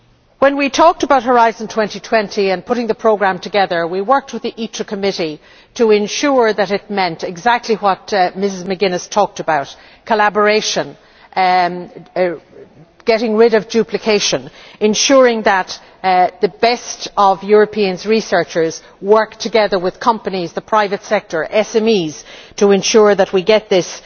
When we talked about Horizon 2020 and putting the programme together, we worked with the Committee on Industry, Research and Energy to ensure that it meant exactly what Mrs McGuiness talked about collaboration, getting rid of duplication, and ensuring that the best of European researchers work together with companies, the private sector, SMEs to ensure that we get this